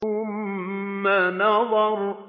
ثُمَّ نَظَرَ